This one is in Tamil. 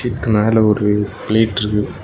இதுக்குக்கு மேல ஒரு பிளேட்ருக்கு .